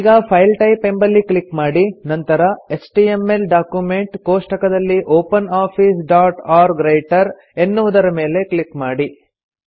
ಈಗ file type ಎಂಬಲ್ಲಿ click ಮಾಡಿ ನಂತರ ಎಚ್ಟಿಎಂಎಲ್ ಡಾಕ್ಯುಮೆಂಟ್ ಕೋಷ್ಠಕದಲ್ಲಿ ಎನ್ನುವುದರ ಮೇಲೆ ಕ್ಲಿಕ್ ಮಾಡಿ